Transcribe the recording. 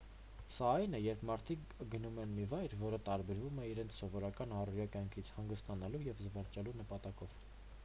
սա այն է երբ մարդիկ գնում են մի վայր որը տարբերվում է իրենց սովորական առօրյա կյանքից հանգստանալու և զվարճանալու նպատակով